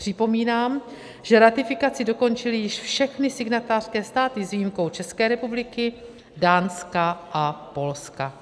Připomínám, že ratifikaci dokončily již všechny signatářské státy s výjimkou České republiky, Dánska a Polska.